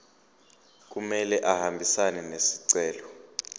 kumele ahambisane nesicelo